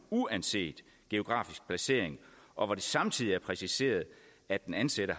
uanset geografisk placering og hvor det samtidig var præciseret at den ansatte